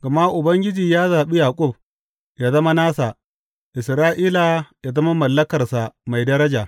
Gama Ubangiji ya zaɓi Yaƙub ya zama nasa, Isra’ila ya zama mallakarsa mai daraja.